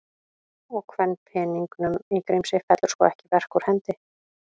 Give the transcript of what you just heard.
Og kvenpeningnum í Grímsey fellur sko ekki verk úr hendi.